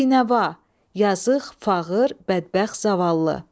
Binəva, yazıq, fağır, bədbəxt, zavallı.